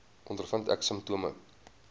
ondervind ek simptome